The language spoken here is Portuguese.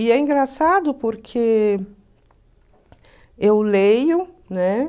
E é engraçado porque eu leio, né?